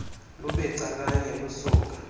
lube calanye lusuka